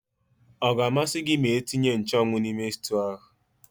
Ọga amasị gị ma etinye nchụ́anwu n'ime sịtịụ ahụ?